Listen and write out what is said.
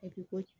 ko